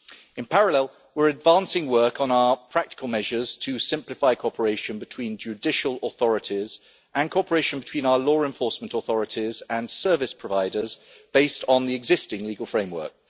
In parallel, we are advancing work on our practical measures to simplify cooperation between judicial authorities and cooperation between our law enforcement authorities and service providers, based on the existing legal framework.